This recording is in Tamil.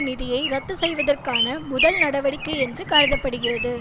நிதியை ரத்துச்செய்வதற்கான முதல் நடவடிக்கை என்று கருத படுகிறது